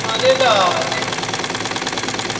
malelane